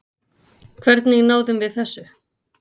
Hvernig náðum við þessu?